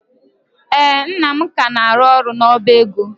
Ee, nna m ka na-arụ ọrụ n'ọba ego.